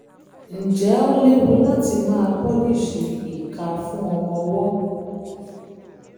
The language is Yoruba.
ǹjẹ́ ó léwu láti máa pọ́líìṣìì ìka fún ọmọ ọwọ́?